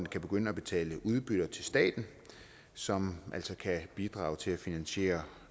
kan begynde at betale udbytte til staten som altså kan bidrage til at finansiere